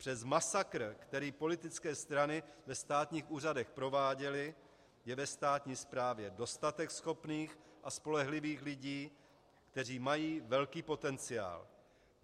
Přes masakr, který politické strany ve státních úřadech prováděly, je ve státní správě dostatek schopných a spolehlivých lidí, kteří mají velký potenciál.